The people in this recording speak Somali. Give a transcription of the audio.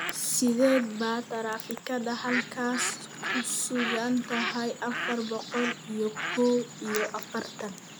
Sidee baa taraafikada halkaas ku sugan tahay afar boqol iyo kow iyo afartan?